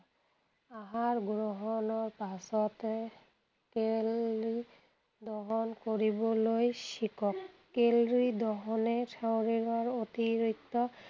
আহাৰ গ্ৰহণৰ পাছতে কেলি calorie দহন কৰিবলৈ শিকক। কেল’ৰি দহনে শৰীৰৰ অতিৰিক্ত